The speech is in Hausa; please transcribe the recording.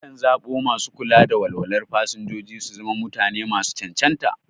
Akan zaɓo masu kula da walwalar fasinjoji su zama mutane masu cancanta.